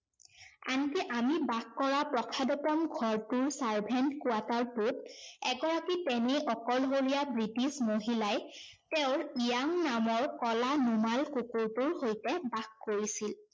আনকি আমি বাস কৰা প্ৰসাদোপম ঘৰটোৰ servant quarter টোত এগৰাকী তেনেই অকলশৰীয়া ব্ৰিটিছ মহিলাই তেওঁৰ ইয়াং নামৰ কলা নোমাল কুকুৰটোৰ সৈতে বাস কৰিছিল।